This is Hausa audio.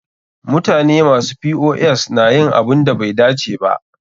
Mutane masu POS na yin abunda bai dace ba.